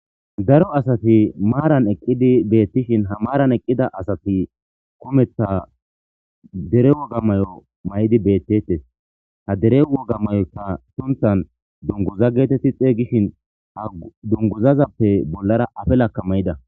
daro asati maaran eqqidi beettishin ha maaran eqqida asati kumeththa dere woga mayo mayidi bettettes ha dere wogamayoyka sunthan dunguza geetetti xeygishin ha dunguzazappe bollara afelakka mayida